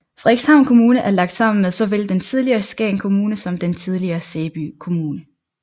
Frederikshavn Kommune er lagt sammen med såvel den tidligere Skagen Kommune som den tidligere Sæby Kommune